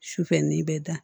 Sufɛ n'i bɛ da